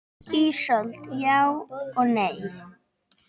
Ísold: Já og nei.